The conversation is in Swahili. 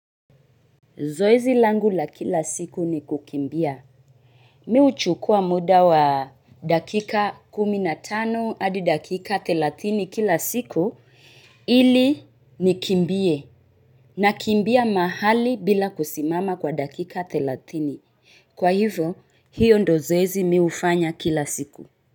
Zoezi langu la kila siku ni kukimbia. Mimi huchukua muda wa dakika kumi na tano hadi dakika thelatini kila siku ili nikimbie nakimbia mahali bila kusimama kwa dakika thelatini. Kwa hivyo hio ndio zoezi mimi hufanya kila siku.